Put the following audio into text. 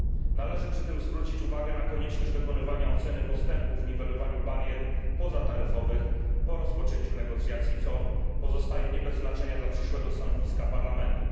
Należy przy tym zwrócić uwagę na konieczność dokonywania oceny postępów w niwelowaniu barier pozataryfowych po rozpoczęciu negocjacji, co pozostaje nie bez znaczenia dla przyszłego stanowiska Parlamentu.